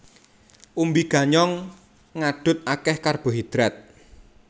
Umbi ganyong ngadhut akéh karbohidrat